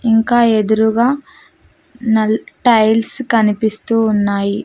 ఇంకా ఎదురుగా నల్ టైల్స్ కనిపిస్తూ ఉన్నాయి.